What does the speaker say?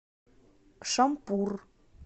шампур